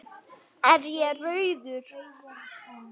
Er ég rauður?